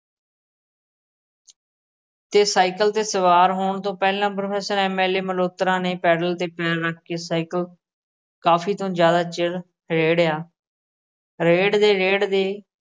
ਤੇ ਸਾਈਕਲ ਤੇ ਸਵਾਰ ਹੋਣ ਤੋਂ ਪਹਿਲਾਂ professor M. L. A Malhotra ਨੇ ਪੈਡਲ ਤੇ ਪੈਰ ਰੱਖ ਕੇ ਸਾਈਕਲ ਕਾਫੀ ਤੋਂ ਜਿਆਦਾ ਚਿਰ ਰੇੜਿਆ। ਰੇੜਦੇ-ਰੇੜਦੇ